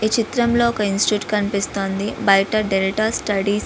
ఈ చిత్రంలో ఒక ఇన్స్టిట్యూట్ కనిపిస్తోంది బయట డెల్టా స్టడీస్ .